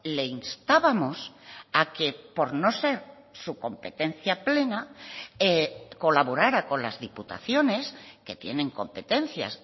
le instábamos a que por no ser su competencia plena colaborara con las diputaciones que tienen competencias